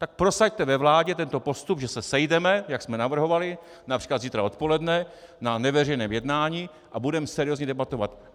Tak prosaďte ve vládě tento postup, že se sejdeme, jak jsme navrhovali, například zítra odpoledne na neveřejném jednání a budeme seriózně debatovat.